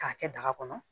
K'a kɛ daga kɔnɔ